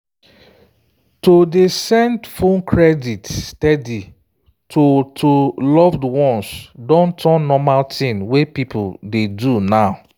to dey send phone credit steady to to loved ones don turn normal thing wey people dey do now.